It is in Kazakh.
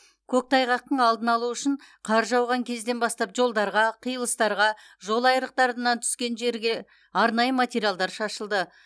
көктайғақтың алдын алу үшін қар жауған кезден бастап жолдарға қиылыстарға жолайырықтарынан түскен жерге арнайы материалдар шашылды